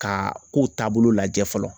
Ka kow taabolo lajɛ fɔlɔ